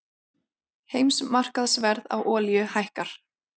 Heimsmarkaðsverð á olíu hækkar